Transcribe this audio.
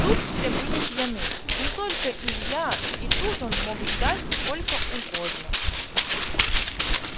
тут все были пьяны не только илья и тут он мог ждать сколько угодно